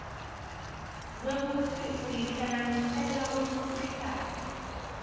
kwekutsi uyihlanganisela wemkhuhlane